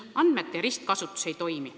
Andmete ristkasutus ei toimi.